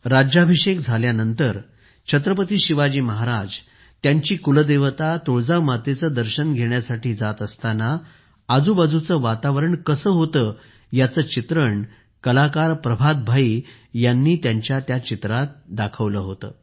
राज्याभिषेक झाल्यानंतर छत्रपती शिवाजी महाराज त्यांची कुलदेवता तुळजा मातेचे दर्शन घेण्यासाठी जात असताना आजूबाजूचे वातावरण कसे होते याचे चित्रण कलाकार प्रभात भाई यांनी त्यांच्या चित्रात केले होते